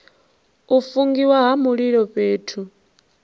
u fungiwa ha mililo fhethu